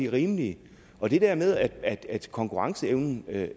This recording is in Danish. og rimeligt og det der med at konkurrencen